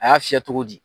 A y'a fiyɛ cogo di